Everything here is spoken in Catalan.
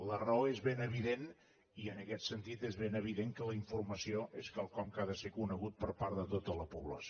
la raó és ben evident i en aquest sentit és ben evident que la informació és quelcom que ha de ser conegut per part de tota la població